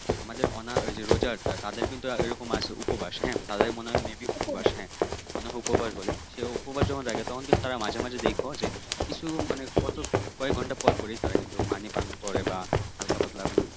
আমাদের অনা ঐ রোজাটা তাদের কিন্তু ঐরকম আছে উপবাস হ্যাঁ তাদের মনে হয় may be উপবাস মনে হয় উপবাস বলে সেই উপবাস যখন রাখে তখন কিন্তু তারা মাঝে মাঝে দেইখো যে কিছু যে কয়েক ঘন্টা পরপরই তারা কিন্তু পানি পান করে বা হাল্কা পাতলা কোন